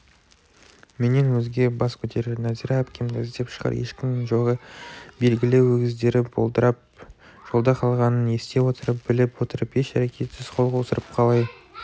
менен өзге бас көтерер нәзира әпкемді іздеп шығар ешкімнің жоғы белгілі өгіздері болдырып жолда қалғанын ести отырып біліп отырып еш әрекетсіз қол қусырып қалай